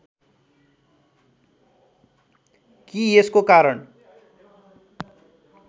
कि यसको कारण